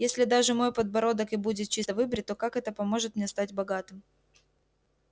если даже мой подбородок и будет чисто выбрит то как это поможет мне стать богатым